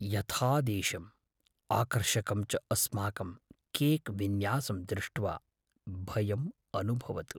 यथादेशम्, आकर्षकं च अस्माकं केक् विन्यासं दृष्ट्वा भयम् अनुभवतु।